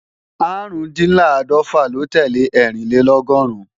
Árùndinláàdọ́fà ló tẹ́lẹ̀ Ẹ́rìnlélọ́gọ́rùn